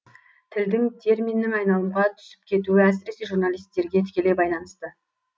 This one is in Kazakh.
тілдің терминнің айналымға түсіп кетуі әсіресе журналистерге тікелей байланысты